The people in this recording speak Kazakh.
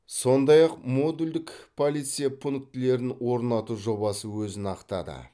сондай ақ модульдік полиция пунктілерін орнату жобасы өзін ақтады